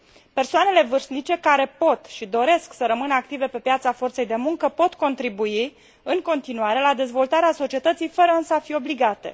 Persoanele vârstnice, care pot și doresc să rămână active pe piața forței de muncă, pot contribui în continuare la dezvoltarea societății, fără însă a fi obligate.